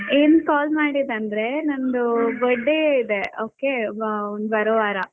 ಏನ್ call ಮಾಡಿದಂದ್ರೆ ನಂದು birthday ಇದೆ okay ಬರೋ ವಾರ.